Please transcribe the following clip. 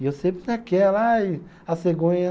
E eu sempre naquela, ai, a cegonha.